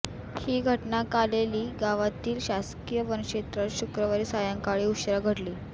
ही घटना कालेली गावातील शासकीय वनक्षेत्रात शुक्रवारी सायंकाळी उशिरा घडली